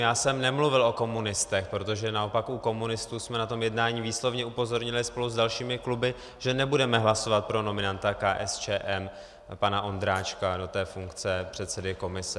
Já jsem nemluvil o komunistech, protože naopak u komunistů jsme na tom jednání výslovně upozornili spolu s dalšími kluby, že nebudeme hlasovat pro nominanta KSČM pana Ondráčka do té funkce předsedy komise.